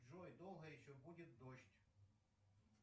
джой долго еще будет дождь